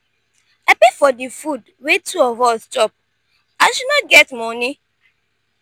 i pay for di food wey two of us chop as she no get moni.